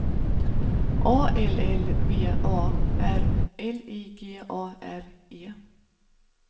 A L L V A R L I G A R E